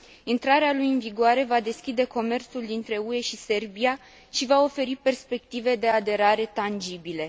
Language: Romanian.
Intrarea lui în vigoare va deschide comerțul dintre UE și Serbia și va oferi perspective de aderare tangibile.